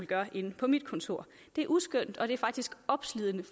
gør inde på mit kontor det er uskønt og det er faktisk opslidende